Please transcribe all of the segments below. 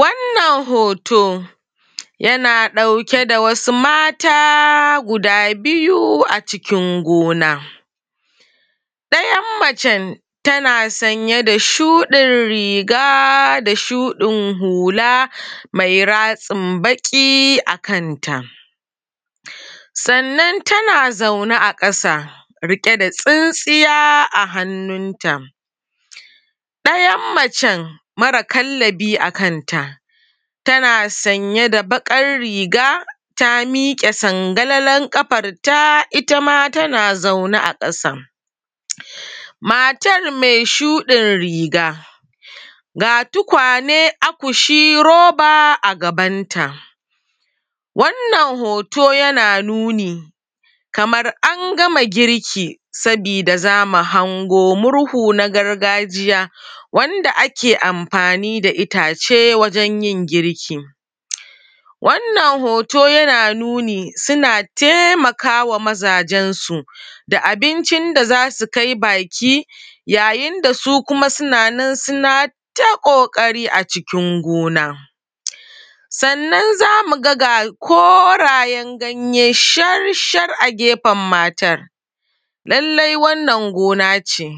Wannan hoto, yana ɗauke da wasu mata guda biyu a cikin gona. Ɗayan macen tana sanye da shuɗin riga da shuɗin hula mai ratsin baƙi a kanta. Sannan.tana zaune a ƙasa riƙe da tsintsiya a hannunta. Ɗayan macen, mara kallabi a kanta, tana sanye da baƙar riga ta miƙe sangalalar ƙafarta ta; ita ma tana zaune a ƙasa. Matar me shuɗir riga, ga tukwane, akushi, roba a gabanta, wannan hoto yana nuni kamar an gama girki sabida za mu hango murhu na gargajiya wanda ake amfani da itace wajen yin girki. Wannan hoto, yana nuni, suna temaka wa mazajensu da abincin da za su kai baki, yayin da su kuma suna nan suna ta ƙoƙari a cikin gona. Sannan, Sannan, za mu ga ga korayen ganye shar-shar a gefen matar. Lallai wannan gona ce,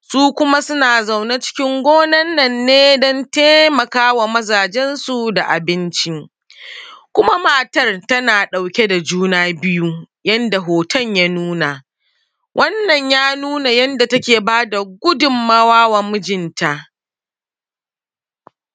su kuma suna zaune cikin gonan nan ne don temaka ma mazajensu da abinci. Kuma, matar tana ɗauke da juna biyu, yanda hoton ya nuna. Wannan, ya nuna yadda take ba da gudunmawa wa mijinta.